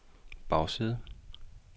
bagside